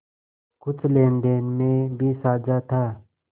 कुछ लेनदेन में भी साझा था